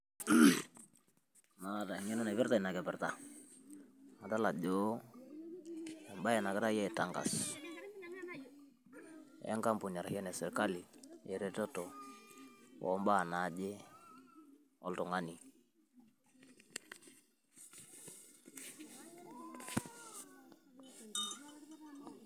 Maata eng'eno naipirta inakipirta adool ajo embaee nagiraii aitangas enkampuni arashu enesirkali eretoto ombaa naaje oltungani